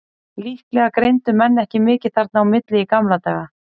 Líklega greindu menn ekki mikið þarna á milli í gamla daga.